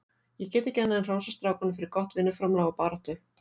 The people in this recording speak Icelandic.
Ég get ekki annað en hrósað strákunum fyrir gott vinnuframlag og baráttu.